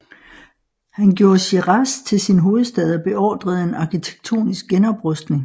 Han gjorde Shiraz til sin hovedstad og beordrede en arkitektonisk genoprustning